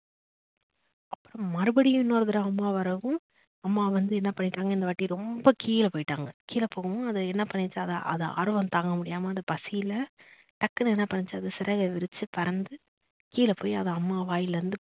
மறுபடியும் இன்னொரு தடவ அம்மா வரவும் அம்மா வந்து என்ன பண்ணிட்டாங்க இந்த வாட்டி ரொம்ப கீழ போயிட்டாங்க கீழ போகுவும் அது என்ன பண்ணிட்டாங்க அது ஆர்வம் தாங்க முடியாம அந்த பசியில டக்குனு என்ன பண்ணுச்சு அது சிறகை விருச்சி பறந்து கீழ போய் அது அம்மா வாயிலிருந்து